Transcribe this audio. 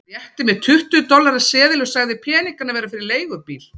Hann rétti mér tuttugu dollara seðil og sagði peningana vera fyrir leigubíl.